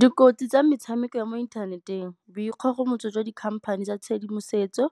Dikotsi tsa metshameko ya mo inthaneteng, boikgogomotso jwa di-company tsa tshedimosetso.